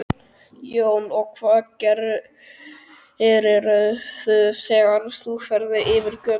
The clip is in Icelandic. Jón: Og hvað gerirðu þegar þú ferð yfir götuna?